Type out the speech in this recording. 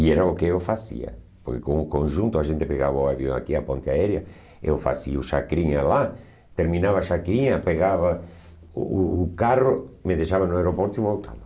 E era o que eu fazia, porque com o conjunto a gente pegava o avião aqui, a ponte aérea, eu fazia o chacrinha lá, terminava o chacrinha, pegava o o o carro, me deixava no aeroporto e voltava.